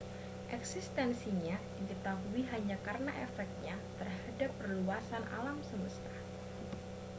eksistensinya diketahui hanya karena efeknya terhadap perluasan alam semesta